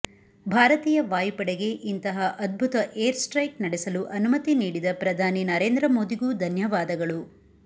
ಭಾರತೀಯ ವಾಯುಪಡೆಗೆ ಇಂತಹ ಅದ್ಭುತ ಏರ್ಸ್ಟ್ರೈಕ್ ನಡೆಸಲು ಅನುಮತಿ ನೀಡಿದ ಪ್ರಧಾನಿ ನರೇಂದ್ರ ಮೋದಿಗೂ ಧನ್ಯವಾದಗಳು